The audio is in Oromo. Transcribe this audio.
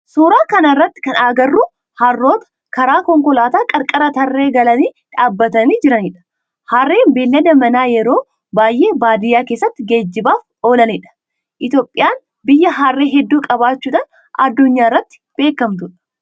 Suuraa kana irratti kan agarru harroota karaa konkolaataa qarqara tarree galanii dhaabbatanii jiranidha. Harreen beellada manaa yeroo baayyee baadiyaa keessatti geejibaaf oolanidha. Itiyoophiyaan biyya harree heddu qabaachudhan addunyaa irratti beekamtuudha.